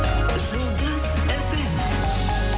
жұлдыз фм